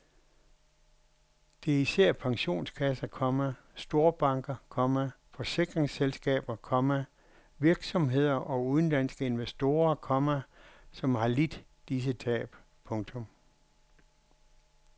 Det er især pensionskasser, komma storbanker, komma forsikringsselskaber, komma virksomheder og udenlandske investorer, komma som har lidt disse tab. punktum